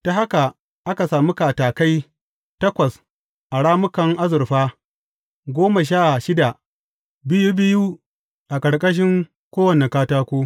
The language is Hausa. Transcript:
Ta haka aka sami katakai takwas da rammukan azurfa goma sha shida, biyu biyu a ƙarƙashin kowane katako.